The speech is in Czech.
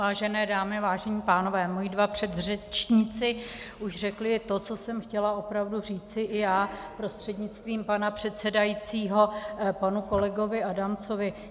Vážené dámy, vážení pánové, moji dva předřečníci už řekli to, co jsem chtěla opravdu říci i já prostřednictvím pana předsedajícího panu kolegovi Adamcovi.